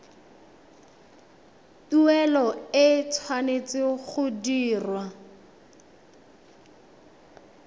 tuelo e tshwanetse go dirwa